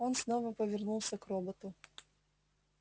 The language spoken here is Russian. он снова повернулся к роботу